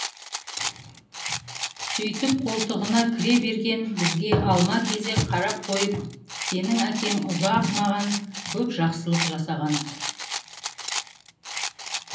сөйтіп қолтығына кіре берген бізге алма кезек қарап қойып сенің әкең ұзақ маған көп жақсылық жасаған